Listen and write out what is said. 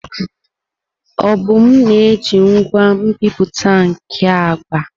Obum na-eji ngwa nbipute nke agba.